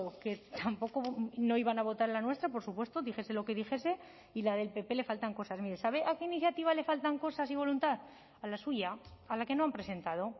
que tampoco no iban a votar la nuestra por supuesto dijese lo que dijese y la del pp le faltan cosas mire sabe a qué iniciativa le faltan cosas y voluntad a la suya a la que no han presentado